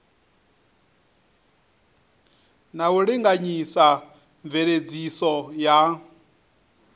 na u linganyisa mveledziso ya